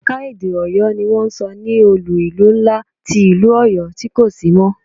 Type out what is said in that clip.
Ẹ̀ka-èdè Ọyọ ni wọ́n ń sọ ní olú-ìlú ńlá ti ìlú Ọyọ tí kò sí mọ́.